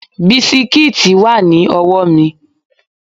Bisikíìtì wà ní ọwọ́ mi